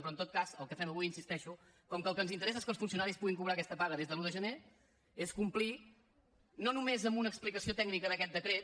però en tot cas el que fem avui hi insisteixo com que el que ens interessa és que els funcionaris puguin cobrar aquesta paga des de l’un de gener és complir no només amb una explicació tècnica d’aquest decret